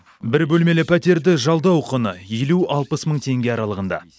бір бөлмелі пәтерді жалдау құны елу алпыс мың теңге аралығында